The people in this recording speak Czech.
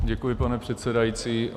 Děkuji, pane předsedající.